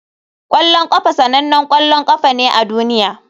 Kwallon kafa sanannen ƙwallon ƙafa ne a duniya.